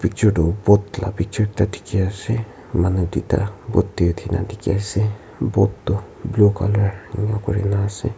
picture tu boat la picture ekta diki ase manu tuita boat de uti na diki ase boat tu blue color ena kurina ase.